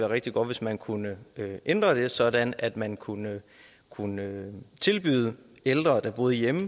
rigtig godt hvis man kunne ændre det sådan at man kunne kunne tilbyde ældre der boede hjemme